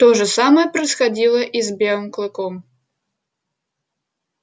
то же самое происходило и с белым клыком